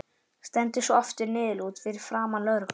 Stendur svo aftur niðurlút fyrir framan lögregluna.